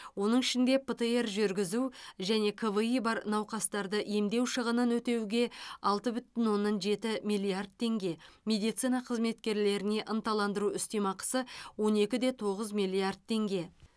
оның ішінде птр жүргізу және кви бар науқастарды емдеу шығынын өтеуге алты бүтін оннан жеті миллиард теңге медицина қызметкерлеріне ынталандыру үстеме ақысы он екі де тоғыз миллиард теңге